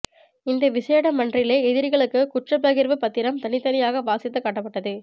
இந்த விசேட மன்றிலே எதிரிகளுக்கு குற்றப்பகிர்வு பத்திரம் தனித்தனியாக வாசித்து காட்டப்பட்டது